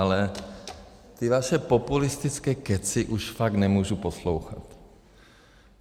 Ale ty vaše populistické kecy už fakt nemůžu poslouchat.